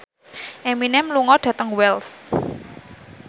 Eminem lunga dhateng Wells